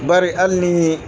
Bari hali ni